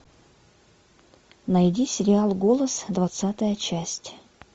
найди сериал голос двадцатая часть